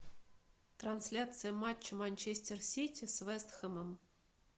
трансляция матча манчестер сити с вест хэмом